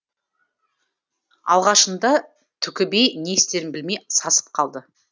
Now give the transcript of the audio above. алғашында түкіби не істерін білмей сасып қалды